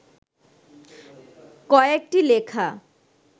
কয়েকটি লেখা